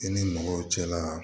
I ni mɔgɔw cɛla la